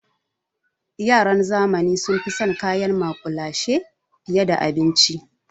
Yaran zamani sun fi son kayan maƙulashe fiye da abinci.